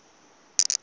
kale i o vha nila